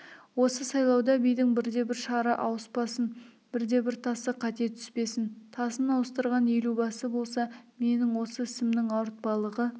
осы сайлауда бидің бірде-бір шары ауыспасын бірде-бір тасы қате түспесін тасын ауыстырған елубасы болса менің осы ісімнің ауыртпалығы